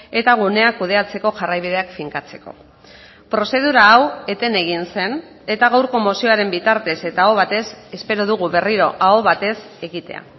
eta guneak kudeatzeko jarraibideak finkatzeko prozedura hau eten egin zen eta gaurko mozioaren bitartez eta aho batez espero dugu berriro aho batez egitea